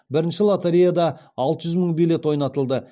бірінші лотереяда алты жүз мың билет ойнатылды